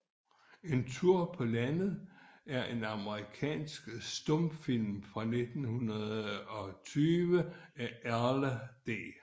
En Tur paa Landet er en amerikansk stumfilm fra 1920 af Erle C